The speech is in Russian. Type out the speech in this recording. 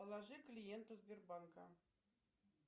положи клиенту сбербанка